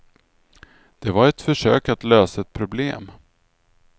Det var ett försök att lösa ett problem.